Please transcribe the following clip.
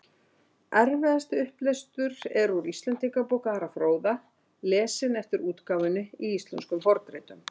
eftirfarandi upplestur er úr íslendingabók ara fróða lesinn eftir útgáfunni í íslenskum fornritum